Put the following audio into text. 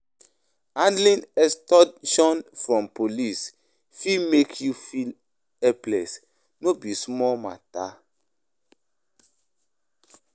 Handling extortion from police fit make you feel helpless; no be small matter.